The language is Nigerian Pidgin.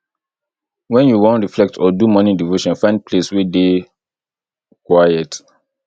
when you wan reflect or do morning devotion find place wey dey quiet